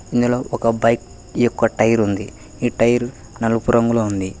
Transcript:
ఇందులో ఒక బైక్ యొక్క టైర్ ఉంది ఈ టైర్ నలుపు రంగులో ఉంది.